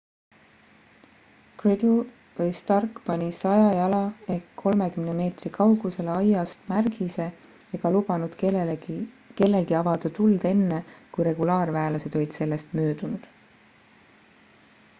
gridle või stark pani 100 jala 30 m kaugusele aiast märgise ega lubanud kellelgi avada tuld enne kui regulaarväelased olid sellest möödunud